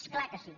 és clar que sí